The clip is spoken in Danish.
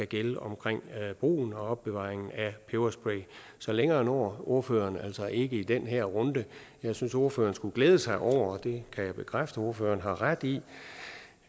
gælde for brugen og opbevaringen af peberspray så længere når ordføreren altså ikke i den her runde jeg synes at ordføreren skulle glæde sig over og det kan jeg bekræfte over for at har ret i